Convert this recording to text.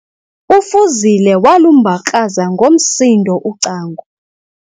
UFuzile walumbakraza ngomsindo ucango.